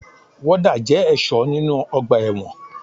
Wọ́dà jẹ́ ẹ̀ṣọ́ nínu ọgbà ẹ̀wọ̀n